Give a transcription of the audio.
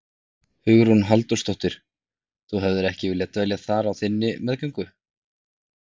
Hugrún Halldórsdóttir: Þú hefðir ekki viljað dvelja þar á þinni meðgöngu?